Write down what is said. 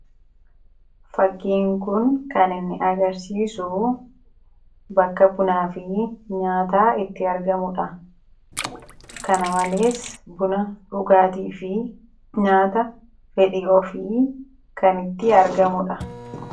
fakkiin kun kan inni agarsiisu bakka bunaa fi nyaanni itti argamudha kana malees buna dhugaatii fi nyaata fedhi of kan itti argamudha